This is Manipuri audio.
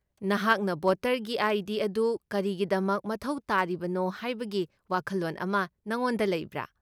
ꯅꯍꯥꯛꯅ ꯚꯣꯇꯔꯒꯤ ꯑꯥꯏ.ꯗꯤ. ꯑꯗꯨ ꯀꯔꯤꯒꯤꯗꯃꯛ ꯃꯊꯧ ꯇꯥꯔꯤꯕꯅꯣ ꯍꯥꯏꯕꯒꯤ ꯋꯥꯈꯜꯂꯣꯟ ꯑꯃ ꯅꯉꯣꯟꯗ ꯂꯩꯕ꯭ꯔꯥ?